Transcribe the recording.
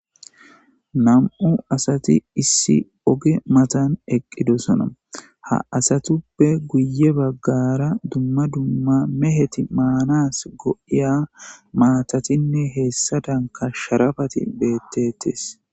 Nam'u asati issi oge matan eqqidosona ha asatuppe guye baggara dumma dumma meheti maanas go'iya maatatinne heessa danka sharafati beettetes